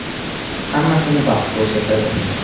Hammasini vaqt ko‘rsatadi.